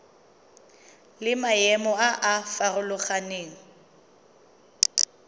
le maemo a a farologaneng